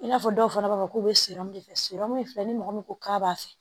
I n'a fɔ dɔw fana b'a fɔ k'u bɛ de fɛsirɔmu filɛ ni mɔgɔ min ko k'a b'a fɛ